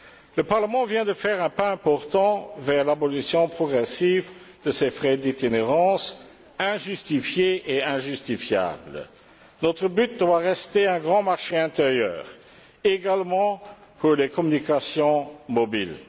Le Parlement vient de faire un pas important vers l'abolition progressive de ces frais d'itinérance injustifiés et injustifiables. Notre but doit rester un grand marché intérieur qui s'applique également aux communications mobiles.